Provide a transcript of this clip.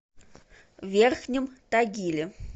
верхнем тагиле